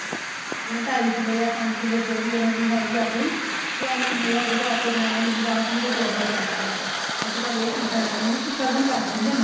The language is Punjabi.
ਜਿਵੇਂ ਢਾਈ ਕਿਲੋ ਜਾਂ ਪੰਜ ਕਿਲੋ ਜੋ ਵੀ ਉਹਨਾ ਦੀ ਹੈਗੀ ਆ ਆਪਣੀ ਬੀ ਇੰਨਾ ਮੇਵਾ ਦੇਦੋ ਆਪੇ ਬਣਾ ਲੈਣਗੇ ਬੀ ਬਾਚ ਵੀ ਤਾਂ ਤੋੜਨਾ ਪੈਂਦਾ ਅੱਜਕਲ ਇਹ ਚੀਜ਼ਾਂ ਆ ਗਈਆਂ ਨੇ ਵੀ ਇੱਕ ਸ਼ਗੁਨ ਕਰ ਦਿੰਦੇ ਨੇ